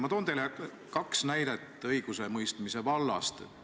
Ma toon teile kaks näidet õigusemõistmise vallast.